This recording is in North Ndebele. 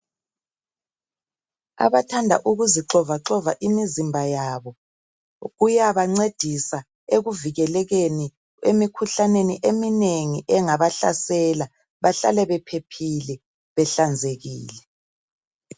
Abathanda ukuzixovaxova imizimba yabo, kuyabancedisa ekuvikelekeni emikhuhlaneni eminengi engabahlasela. Bahlale bephephile, behlanzekile.